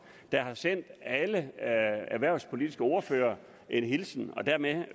der har sendt alle erhvervspolitiske ordførere en hilsen og dermed